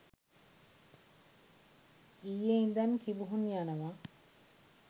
ඊයේ ඉදන් කිඹුහුන් යනවා